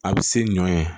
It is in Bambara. A bɛ se ɲɔɛ